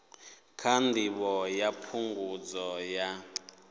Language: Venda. kha ndivho ya phungudzo ya